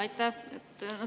Aitäh!